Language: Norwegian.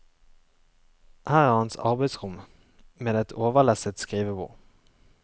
Her er hans arbeidsrom med et overlesset skrivebord.